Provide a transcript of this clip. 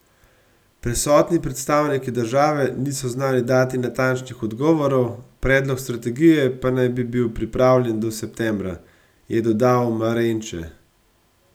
Prisotni predstavniki države niso znali dati natančnih odgovorov, predlog strategije pa naj bi bil pripravljen do septembra, je dodal Marenče.